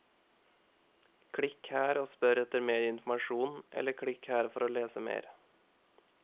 Klikk her og spør etter mer informasjon, eller klikk her for å lese mer.